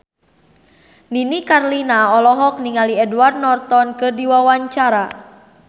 Nini Carlina olohok ningali Edward Norton keur diwawancara